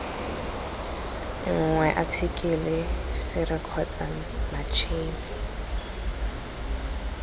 nngwe athikele sere kgotsa matšhini